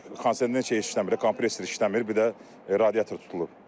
Kondisioner işləmir, kompresor işləmir, bir də radiator tutulub.